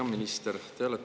Hea minister!